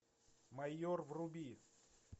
майор вруби